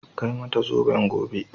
Kai mata zoben gobe